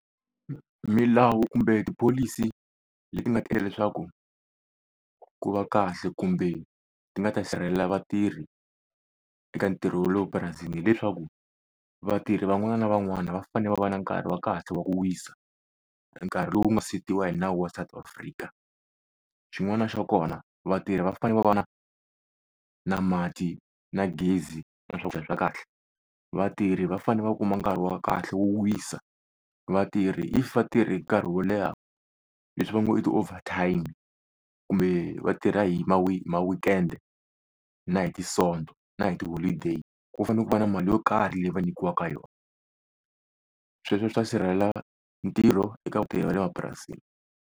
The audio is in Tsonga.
Milawu kumbe tipholisi leti nga ta endla leswaku ku va kahle kumbe ti nga ta sirhelela vatirhi eka ntirho wa le prurasini, hileswaku vatirhi van'wana na van'wana va fanele va va na nkarhi wa kahle wa ku wisa, nkarhi lowu nga setiwa hi nawu wa South Afrika. Xin'wana xa kona vatirhi va fane va va na na mati na gezi na swakudya swa kahle. Vatirhi va fane va kuma nkarhi wo kahle wo wisa. Vatirhi if va tirhe nkarhi wo leha leswi va ngo i ti-over-time kumbe vatirha hi ma ma-weekend na hi ti-sonto na hi ti-holiday, ku fanele ku va na mali yo karhi leyi va nyikiwaka yona. Sweswo swi ta sirhelela ntirho eka vugevenga bya le mapurasini.